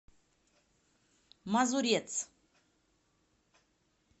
мазурец